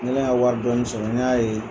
N kɛlen ka wari dɔɔnin sɔrɔ n y'a ye